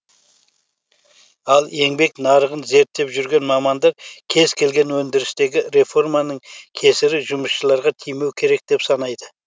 ал еңбек нарығын зерттеп жүрген маманда кез келген өндірістегі реформаның кесірі жұмысшыларға тимеу керек деп санайды